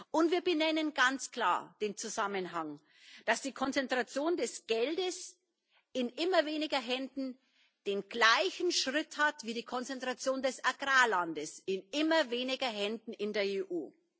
Und wir benennen ganz klar den Zusammenhang, dass die Konzentration des Geldes in immer weniger Händen den gleichen Schritt hat wie die Konzentration des Agrarlandes in immer weniger Händen in der EU.